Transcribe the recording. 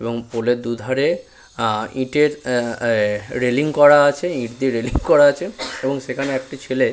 এবং পোল এর দু ধারে ইটের অ্যা আ রেলিং করা আছে ইট দিয়ে রেলিং করা আছে এবং সেখানে একটি ছেলে--